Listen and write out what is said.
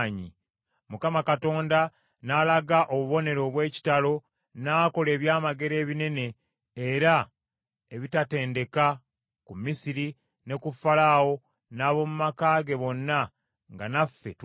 Mukama Katonda n’alaga obubonero obw’ekitalo, n’akola ebyamagero ebinene era ebitatendeka ku Misiri ne ku Falaawo n’ab’omu maka ge bonna, nga naffe tulaba.